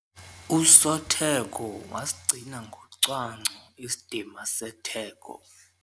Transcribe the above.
Usotheko wasigcina ngocwangco isidima setheko.